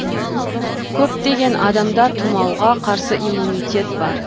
көптеген адамда тұмауға қарсы иммунитет бар